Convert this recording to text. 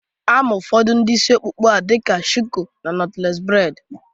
Ama ụfọdụ udiri isi ọkpụkpa a dịka shuku na nọtlees breid